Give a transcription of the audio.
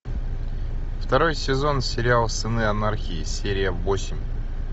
второй сезон сериал сыны анархии серия восемь